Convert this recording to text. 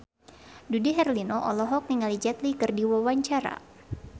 Dude Herlino olohok ningali Jet Li keur diwawancara